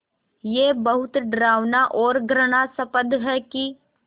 ये बहुत डरावना और घृणास्पद है कि